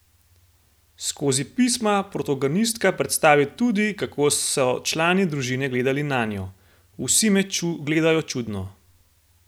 Skozi pisma protagonistka predstavi tudi, kako so člani družine gledali nanjo: "Vsi me gledajo čudno.